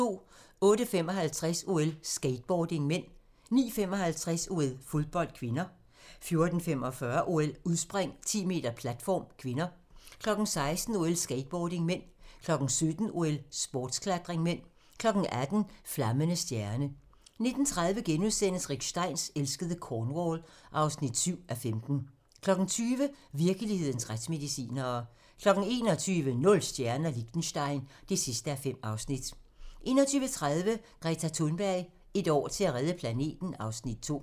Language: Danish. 08:55: OL: Skateboarding (m) 09:55: OL: Fodbold (k) 14:45: OL: Udspring, 10m platform (k) 16:00: OL: Skateboarding (m) 17:00: OL: Sportsklatring (m) 18:00: Flammende stjerne 19:30: Rick Steins elskede Cornwall (7:15)* 20:00: Virkelighedens retsmedicinere 21:00: Nul stjerner - Liechtenstein (5:5) 21:30: Greta Thunberg: Et år til at redde planeten (Afs. 2)